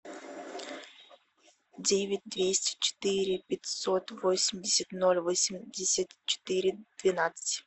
девять двести четыре пятьсот восемьдесят ноль восемьдесят четыре двенадцать